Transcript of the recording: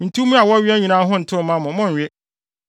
Ntummoa a wɔwea nyinaa ho ntew mma mo; monnwe.